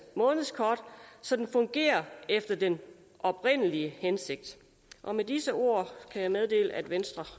månedskort så den fungerer efter den oprindelige hensigt med disse ord kan jeg meddele at venstre